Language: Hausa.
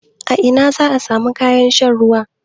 A ina zaa samu kayan saka ruwan?